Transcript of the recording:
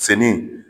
Fini